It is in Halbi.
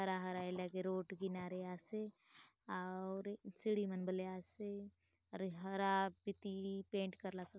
हरा-हरा ए लगे रोड किनारे आसे आउर सीढ़ी मन बले आसे अउर ये हरा पिती पेंट करलासे।